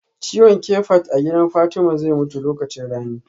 Ciwon kafet a gidan Fatma zai mutu lokacin rani